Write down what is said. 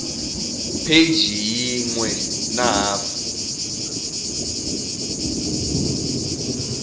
pheji yin we na hafu